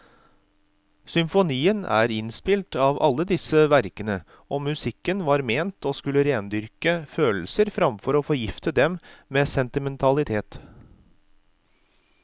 Symfonien er inspirert av alle disse verkene, og musikken var ment å skulle rendyrke følelser framfor å forgifte dem med sentimentalitet.